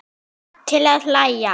Til að hlæja.